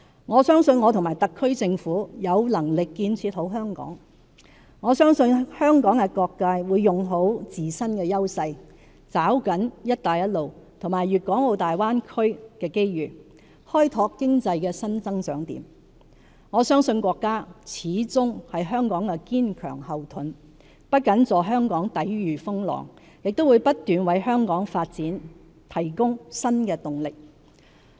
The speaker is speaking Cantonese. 我相信我和特區政府有能力建設好香港；我相信香港各界會用好自身優勢，抓緊"一帶一路"和粵港澳大灣區的機遇，開拓經濟的新增長點；我相信國家始終是香港的堅強後盾，不僅助香港抵禦風浪，亦會不斷為香港發展提供新動力。